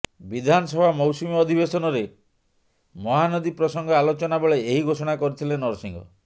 ବିଧାନସଭା ମୌସୁମୀ ଅଧିବେସନରେ ମହାନଦୀ ପ୍ରସଙ୍ଗ ଆଲୋଚନା ବେଳେ ଏହି ଘୋଷଣା କରିଥିଲେ ନରସିଂହ